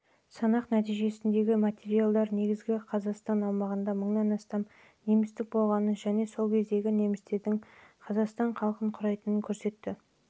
санақ нәтижесіндегі материалдар қазіргі қазақстан аумағында мыңнан астам немістің болғанын және сол кезде немістердің қазақстан халқының құрайтынын көрсетті